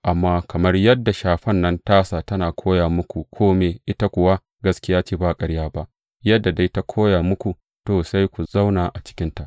Amma kamar yadda shafan nan tasa tana koya muku kome, ita kuwa gaskiya ce ba ƙarya ba, yadda dai ta koya muku, to, sai ku zauna a cikinsa.